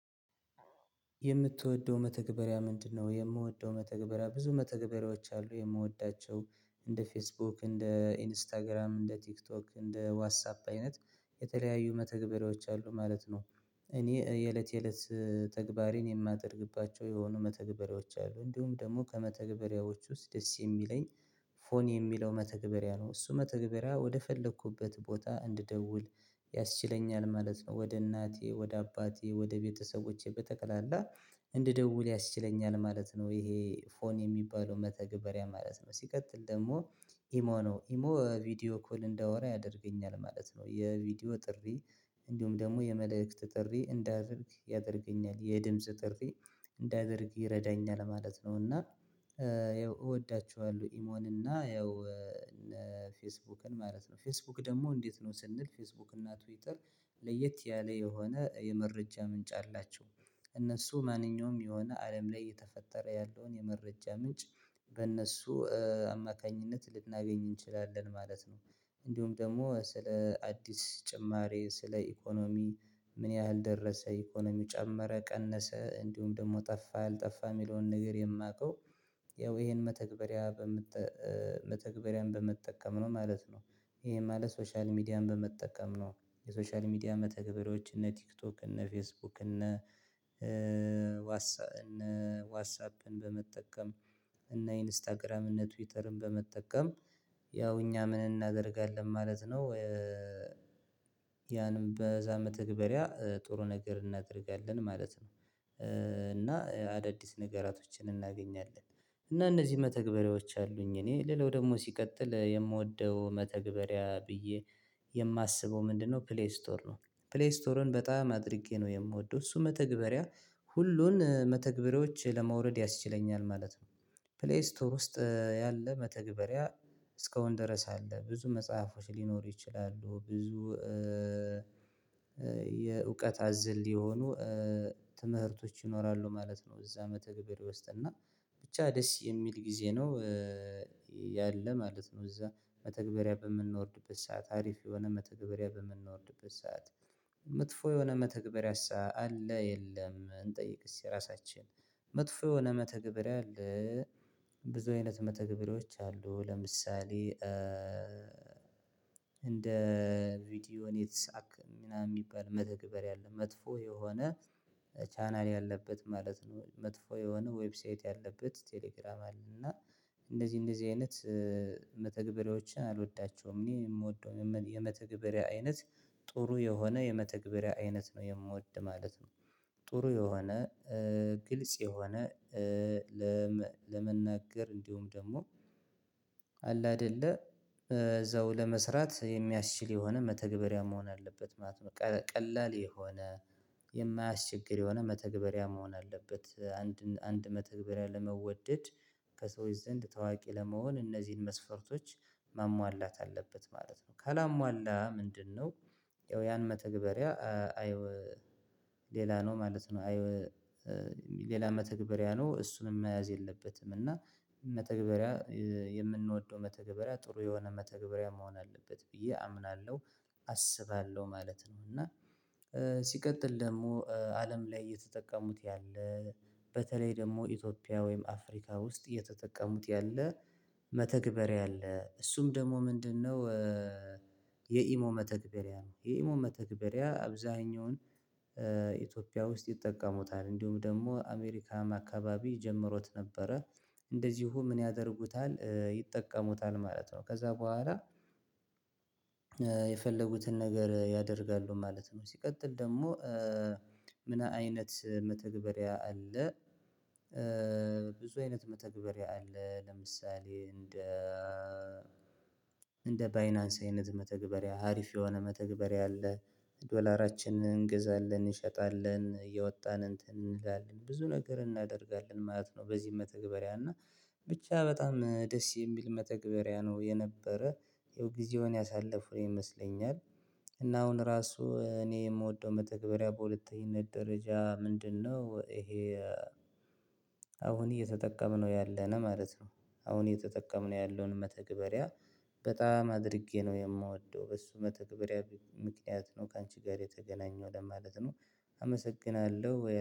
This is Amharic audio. የምትወደው መተግበሪያ ምንድነው? የምወደው መተግበሪያ ብዙ መተግበሪያዎች አሉ የምወዳቸው እንደ ፌስቡክ እንደ ኢንስታግራም እንደ ቲክቶክ እንደ ዋትሳፕ አይነት የተለያዩ መተግበሪያዎች አሉ ማለት ነው። እኔ የእለት የእለት ተግባሬን የማደርግባቸው የሆኑ መተግበሪያዎች አሉ እንዲሁም ደግሞ ከመተግበሪያዎቹ ውስጥ ደስ የሚለኝ ፎን የሚለው መተግበሪያ ነው። እሱ መተግበሪያ ወደፈለኩበት ቦታ እንድደውል ያስችለኛል ማለት ነው። ወደ እናቴ ወደ አባቴ ወደ ቤተሰቦቼ በጠቅላላ እንድደውል ያስችለኛል ማለት ነው። ይሄ ፎን የሚባለው መተግበሪያ ማለት ነው ሲቀጥል ደግሞ። ኢሞ ነው ኢሞ ቪዲዮ ኮል እንዳወራ ያደርገኛል ማለት ነው። የቪዲዮ ጥሪ እንዲሁም ደግሞ የመልእክት ጥሪ እንዳደርግ ያደርገኛል የድምጽ ጥሪ እንዳደርግ ይረዳኛል ማለት ነው። እና ያው ይወዳችኋልለሁ ኢሞን እና ያው ፌስቡክን ማለት ነው። ፌስቡክ ደግሞ እንዴት ነው ስንል ፌስቡክ እና ትዊትር ለየት ያለ የሆነ የመረጃ ምንጭ አላቸው። እነሱ ማንኛውም የሆነ አለም ላይ የተፈጠረ ያለውን የመረጃ ምንጭ በእነሱ አማካኝነት ልናገኝ እንችላለን ማለት ነው። እንዲሁም ደግሞ ስለ አዲስ ጭማሪ ስለ ኢኮኖሚ ምን ያህል ደረሰ ኢኮኖሚው ጨመረ ቀነሰ እንዲሁም ደግሞ ጠፋ አልጠፋ የሚለውን ነገር የማውቀው ያው ይሄን መተግበሪያ መተግበሪያን በመጠቀም ነው ማለት ነው። ይሄን ማለት ሶሻል ሚዲያን በመጠቀም ነው። የሶሻል ሚዲያ መተግበሪያዎች እነ ቲክቶክ እነ ፌስቡክ እነ እነ ዋትሳፕን በመጠቀም እና ኢንስታግራምን እነ ትዊተርን በመጠቀም ያው እኛ ምን እናደርጋለን ማለት ነው። ያንም በዛ መተግበሪያ ጥሩ ነገር እናደርጋለን ማለት ነው። እና አዳዲስ ነገራቶችን እናገኛለን እና እነዚህ መተግበሪያዎች አሉኝ። እኔ ሌላው ደግሞ ሲቀጥል የምወደው መተግበሪያ ብዬ የማስበው ምንድነው? ፕሌይ ስቶር ነው። ፕሌይ ስቶርን በጣም አድርጌ ነው የምወደው። እሱ መተግበሪያ ሁሉን መተግበሪያዎች ለማውረድ ያስችለኛል ማለት ነው። ፕሌይ ስቶር ውስጥ ያለ መተግበሪያ እስከውን ድረስ አለ ብዙ መጽሐፎች ሊኖሩ ይችላሉ። ብዙ የእውቀት አዝል የሆኑ ትምህርቶች ይኖራሉ ማለት ነው። እዛ መተግበርያ ውስጥና ብቻ ደስ የሚል ጊዜ ነው። ያለ ማለት ነው። እዛ መተግበሪያ በምናወርድበት ሰዓት አሪፍ የሆነ መተግበሪያ በምናወርድበት ሰዓት መጥፎ የሆነ መተግበሪያስ አለ የለም? እንጠይቅስ የራሳችን መጥፎ የሆነ መተግበሪያ አለ። ብዙ አይነት መተግበሪያዎች አሉ። ለምሳሌ እንደ ቪዲዮ ኔትሳክ ምናምን የሚባል መተግበር አለ መጥፎ የሆነ ቻናል ያለበት ማለት ነው። መጥፎ የሆነ ዌብሳይት ያለበት ቴሌግራም አለ እና እንደዚህ እንደዚህ አይነት መተግበሪያዎችን አልወዳቸውም። እኔ የምወደው የመተግበሪያ አይነት ጥሩ የሆነ የመተግበሪያ አይነት ነው የምወድ ማለት ነው። ጥሩ የሆነ ግልጽ የሆነ ለመናገር እንዲሁም ደግሞ አለ አይደለ እዛው ለመስራት የሚያስችል የሆነ መተግበሪያ መሆን አለበት ማለት ነው። ቀላል የሆነ የማያስቸግር የሆነ መተግበሪያ መሆን አለበት አንድ አንድ መተግበሪያ ለመወደድ ከሰዎች ዘንድ ታዋቂ ለመሆን እነዚህን መስፈርቶች ማሟላት አለበት ማለት ነው። ካላሟላ ምንድነው? ያን መተግበሪያ አየው ሌላ ነው ማለት ነው። ሌላ መተግበሪያ ነው እሱንም መያዝ የለበትም። እና መተግበሪያ የምንወደው መተግበሪያ ጥሩ የሆነ መተግበሪያ መሆን አለበት ብዬ አምናለሁ አስባለሁ ማለት ነው። እና ሲቀጥል ደግሞ አለም ላይ እየተጠቀሙት ያለ በተለይ ደግሞ ኢትዮጵያ ወይም አፍሪካ ውስጥ እየተጠቀሙት ያለ መተግበሪያ አለ እሱም ደግሞ ምንድነው? የኢሞ መተግበሪያ ነው። የኢሞ መተግበሪያ አብዛኛውን ኢትዮጵያ ውስጥ ይጠቀሙታል እንዲሁም ደግሞ አሜሪካም አካባቢ ጀምሮት ነበረ። እንደዚሁ ምን ያደርጉታል ይጠቀሙታል ማለት ነው። ከዛ በኋላ የፈለጉትን ነገር ያደርጋሉ ማለት ነው። ሲቀጥል ደግሞ ምን አይነት መተግበሪያ አለ? ብዙ አይነት መተግበሪያ አለ ለምሳሌ እንደ እንደ ባይናንስ አይነት መተግበሪያ ሀሪፍ የሆነ መተግበሪያ አለ። ዶላራችንን እንገዛለን እንሸጣለን እየወጣን እንትን እንላለን ብዙ ነገር እናደርጋለን ማለት ነው። በዚህ መተግበሪያ እና ብቻ በጣም ደስ የሚል መተግበሪያ ነው የነበረ የጊዜውን ያሳለፉ ይመስለኛል። እና አሁን ራሱ እኔ የምወደው መተግበሪያ በሁለተኝነት ደረጃ ምንድነው ይሄ? አሁን እየተጠቀምነው ያለውን ማለት ነው። አሁን እየተጠቀምነው ያለውን መተግበሪያ በጣም አድርጌ ነው የማወደው በሱ መተግበሪያ ምክንያት ነው ካንቺ ጋር የተገናኘው ለማለት ነው። አመሰግናለሁ